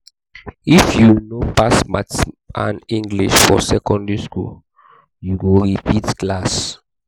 if you no pass maths and english for secondary skool you go repeat class.